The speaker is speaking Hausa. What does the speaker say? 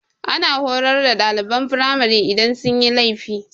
Ana horar da ɗaliban firamari idan sun yi laifi.